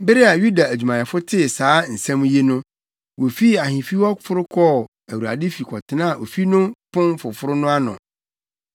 Bere a Yuda adwumayɛfo tee saa nsɛm yi no, wofii ahemfi hɔ foro kɔɔ Awurade fi kɔtenaa ofi no Pon Foforo no ano.